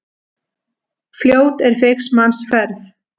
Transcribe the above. Fljót er feigs manns ferð.